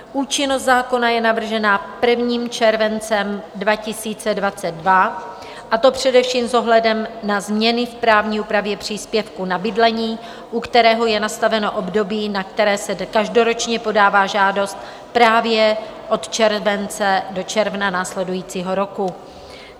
Účinnost zákona je navržena 1. červencem 2022, a to především s ohledem na změny v právní úpravě příspěvku na bydlení, u kterého je nastaveno období, na které se každoročně podává žádost právě od července do června následujícího roku.